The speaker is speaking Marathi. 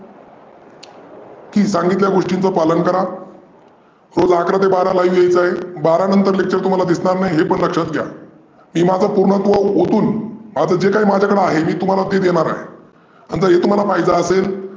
की सांगितलेल्या गोष्टींच पालन करा रोज अकरा ते बारा live यायचं आहे. बारा नंतर तुम्हाला lecture तुम्हाला दिसणार नाही हे पण लक्षात घ्या. हे माझं पुर्णत्व ओतून आता जे काही माअझ्याकडे आहे तुम्हाला ते देणार आहे. आता हे तुम्हाला पाहीजे असेल